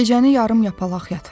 Gecəni yarım yapalaq yatıram.